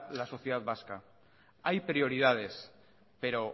la sociedad vasca hay prioridades pero